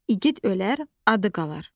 İgid ölər, adı qalar.